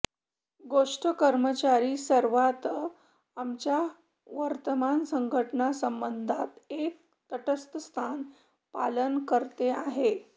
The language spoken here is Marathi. गोष्ट कर्मचारी सर्वात आमच्या वर्तमान संघटना संबंधात एक तटस्थ स्थान पालन करते आहे